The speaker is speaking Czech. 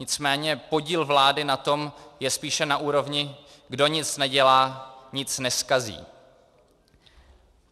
Nicméně podíl vlády na tom je spíše na úrovni "kdo nic nedělá, nic nezkazí".